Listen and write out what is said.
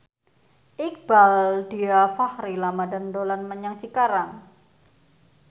Iqbaal Dhiafakhri Ramadhan dolan menyang Cikarang